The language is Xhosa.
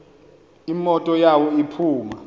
imoto yawo iphuma